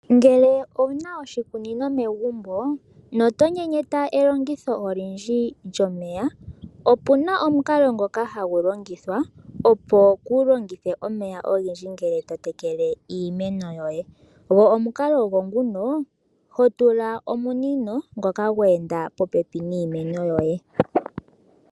Ngele owu na oshikunino megumbo noto nyenyeta elongitho olindji lyomeya opu na omukalo ngoka hagu longithwa opo kuulongithe omeya ogendji ngele to tekele iimeno yoye go omukalo ogo nguno ho tula omunino ngoka gweenda popepi niimeno yoye.